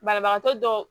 Banabagatɔ dɔw